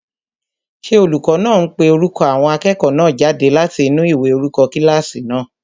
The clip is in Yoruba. Ṣé olùkọ́ náà ń pe orúkọ àwọn akẹ́kọ̀ọ́ náà jáde láti inú ìwé orúkọ kílásì náà?